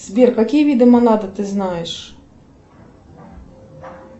сбер какие виды монада ты знаешь